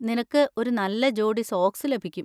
നിനക്ക് ഒരു നല്ല ജോഡി സോക്സ് ലഭിക്കും.